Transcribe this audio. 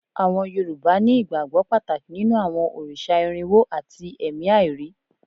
Àwọn Yorùbá ní ìgbàgbọ́ Pàtàkì nínú àwọn òrìṣà irínwo àti ẹ̀mí àìrí